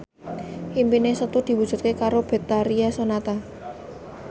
impine Setu diwujudke karo Betharia Sonata